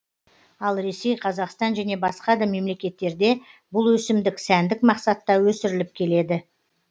ал ресей қазақстан және басқа да мемлекеттерде бұл өсімдік сәндік мақсатта өсіріліп келеді